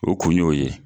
O kun y'o ye